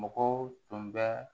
Mɔgɔw tun bɛ